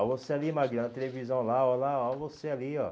Aí você ali, Maguila, na televisão lá, olha lá, olha você ali, ó.